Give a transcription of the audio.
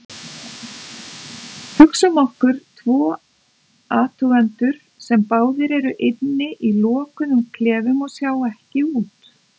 Hugsum okkur tvo athugendur sem báðir eru inni í lokuðum klefum og sjá ekki út.